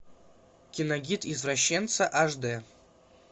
киногид извращенца аш дэ